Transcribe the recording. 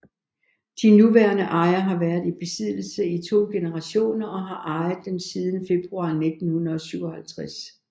De nuværende ejere har været i besiddelse i to generationer og har ejet den siden februar 1957